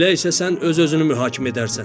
Elə isə sən öz-özünü mühakimə edərsən.